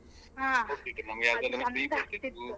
ಹಾ .